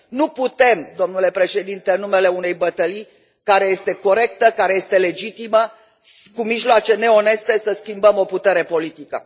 Nu putem, domnule președinte, în numele unei bătălii care este corectă, care este legitimă, cu mijloace neoneste să schimbăm o putere politică.